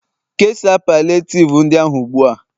kesaa palliative ndị ahụ ugbu a!